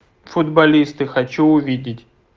футболисты хочу увидеть